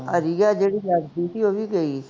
ਅਸੀਂ ਕਿਹਾ ਜਿਹੜੀ ਲੜ੍ਹਦੀ ਸੀ ਉਹ ਵੀ ਗਈ